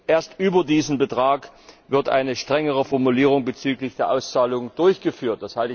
Erst über diesem Betrag wird eine strengere Formulierung bezüglich der Auszahlung durchgeführt.